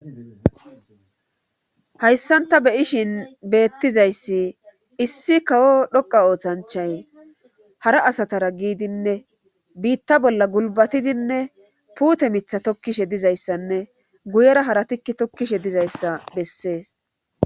Hayssan ta beyishin beettizayssi issi kawo dhoqa oothanchay hara asatara giidinne biitta bolla gulbatidinne puute mitha tokkishe dizayssanne guyera haratikki tokkishe dizayssa bessees.